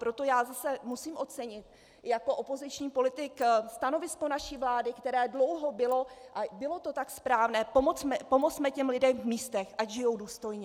Proto já zase musím ocenit jako opoziční politik stanovisko naší vlády, které dlouho bylo, a bylo to tak správné - pomozme těm lidem v místech, ať žijí důstojně.